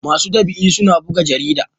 masu ɗab'i suna buga jarida